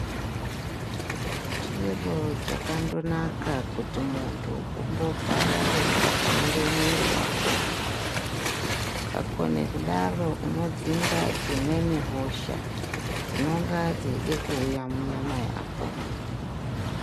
Chiro chakandonaka kuti muntu umbogara weitatamure mwiiri wako. Ukakone kudaro unodzinga dzimweni hosha dzinonga dzeide kuuya munyama yako.